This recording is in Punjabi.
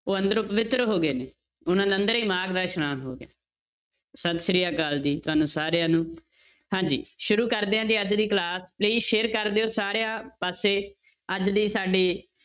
ਉਹ ਅੰਦਰੋਂ ਪਵਿੱਤਰ ਹੋ ਗਏ ਨੇ ਉਹਨਾਂ ਦੇ ਅੰਦਰ ਹੀ ਮਾਘ ਦਾ ਇਸ਼ਨਾਨ ਹੋ ਗਿਆ, ਸਤਿ ਸ੍ਰੀ ਅਕਾਲ ਜੀ ਤੁਹਾਨੂੰ ਸਾਰਿਆਂ ਨੂੰ ਹਾਂਜੀ ਸ਼ੁਰੂ ਕਰਦੇ ਹਾਂ ਜੀ ਅੱਜ ਦੀ class, please share ਕਰ ਦਿਓ ਸਾਰਿਆਂ ਪਾਸੇ ਅੱਜ ਦੀ ਸਾਡੀ